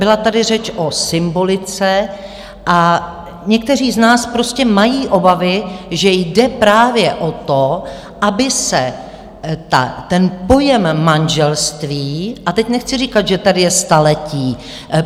Byla tady řeč o symbolice a někteří z nás prostě mají obavy, že jde právě o to, aby se ten pojem manželství - a teď nechci říkat, že tady je staletí.